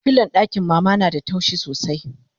filon ɗakin mama na da taushi sosai